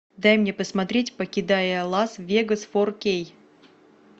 дай мне посмотреть покидая лас вегас фор кей